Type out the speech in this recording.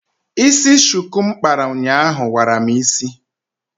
Ísí shuku m kpara ụnyaahụ wara m ísí.